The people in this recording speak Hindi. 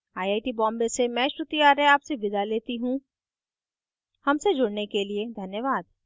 आई आई टी बॉम्बे से मैं श्रुति आर्य आपसे विदा लेती हूँ हमसे जुड़ने के लिए धन्यवाद